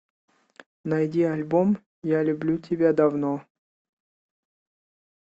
найди альбом я люблю тебя давно